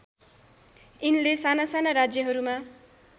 यिनले सानासाना राज्यहरूमा